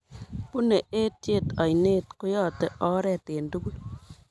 Bunei etiet oinet, koyotei oret eng tugul